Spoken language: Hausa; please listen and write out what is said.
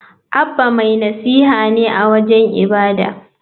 Abba mai nasiha ne a wajen ibada.